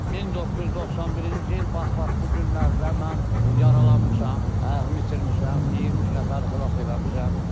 1991-ci il, bax-bax bu günlərdə mən yaralanmışam, ayağımı itirmişəm, 23 nəfəri xilas eləmişəm.